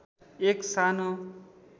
एक सानो